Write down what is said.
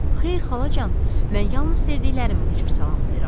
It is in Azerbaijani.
Xeyr xalacan, mən yalnız sevdiklərimi bu cür salamlayıram.